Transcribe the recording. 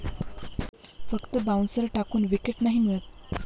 फक्त बाउन्सर टाकून विकेट नाही मिळत.